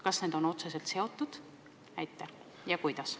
Kas need on otseselt seotud ja kuidas?